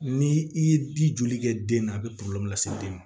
Ni i ye di joli kɛ den na a bɛ lase den ma